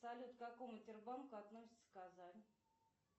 салют к какому тербанку относится казань